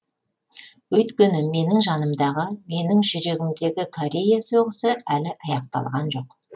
өйткені менің жанымдағы менің жүрегімдегі корея соғысы әлі аяқталған жоқ